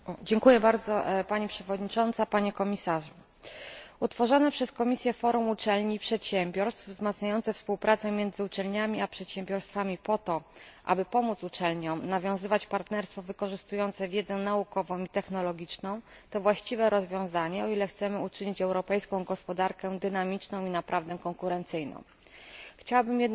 Utworzone przez Komisję forum uczelni i przedsiębiorstw, wzmacniające współpracę między uczelniami a przedsiębiorstwami po to, aby pomóc uczelniom nawiązywać partnerstwo wykorzystujące wiedzę naukową i technologiczną, to właściwe rozwiązanie, o ile chcemy uczynić europejską gospodarkę dynamiczną i naprawdę konkurencyjną. Chciałabym jednak wspomnieć o kilku niedoskonałościach projektu Komisji.